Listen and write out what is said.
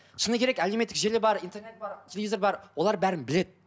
шыны керек әлеуметтік желі бар интернет бар телевизор бар олар бәрін біледі